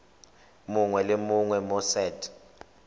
mongwe le mongwe mo set